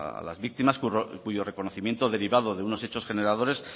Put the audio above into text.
a las víctimas cuyo reconocimiento derivado de unos hechos generadores